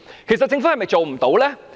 其實政府是否做不到呢？